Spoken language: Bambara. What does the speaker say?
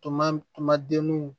Toma tuma denw